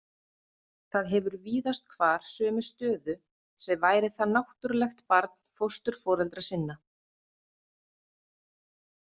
Það hefur víðast hvar sömu stöðu sem væri það náttúrulegt barn fósturforeldra sinna.